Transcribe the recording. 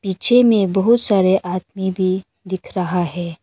पीछे में बहुत सारे आदमी भी दिख रहा है।